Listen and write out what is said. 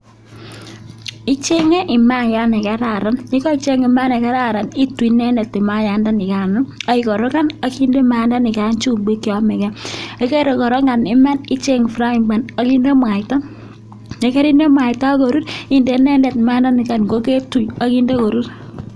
Ichenge maiyat nekararan, yekaicheng mayat nekararan ituii inendet mayandanikano ak ikorokan ak inde maiyandanikan chumbik cheyomeke, yekarikorokan iman icheng frying ban ak inde mwaita, yekerinde mwaita ak korur inde inendet mayandanikan koketui ak inde korur.